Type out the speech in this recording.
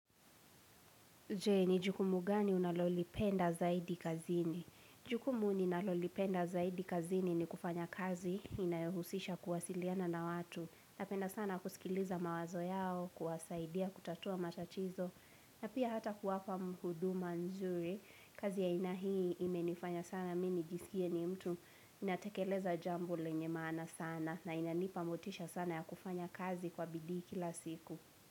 Je, ni jukumugani unalolipenda zaidi kazini? Jukumu ninalolipenda zaidi kazini ni kufanya kazi inayohusisha kuwasiliana na watu. Napenda sana kusikiliza mawazo yao, kuwasaidia, kutatua matatizo, na pia hata kuwapa huduma nzuri. Kazi ya aina hii imenifanya sana, mimi nijisikie ni mtu ninatekeleza jambo lenyemaana sana na inanipamotisha sana ya kufanya kazi kwa bidii kila siku.